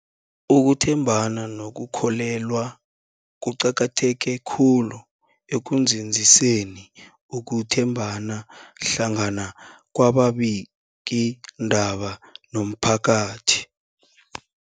Ukuthembana nokukholweka kuqakatheke khulu ekunzinziseni ukuthembana hlangana kwababikiindaba nomphakathi.